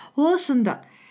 ол шындық